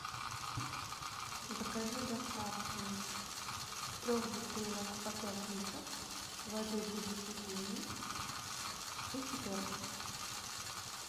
закажи доставку трех бутылок по пять литров воды будущий гений из пятерочки